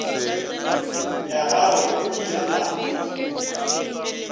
ya gagwe o ile a